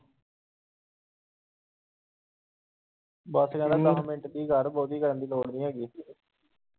ਬਾਕੀ ਦੱਸ minute ਚ ਕਰ ਬਹੁਤੀ ਕਰਨ ਦੀ ਲੋੜ੍ਹ ਨੀ ਹੈਗੀ।